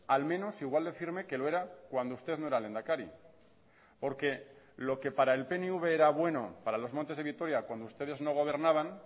al menos igual de firme que lo era cuando usted no era lehendakari porque lo que para el pnv era bueno para los montes de vitoria cuando ustedes no gobernaban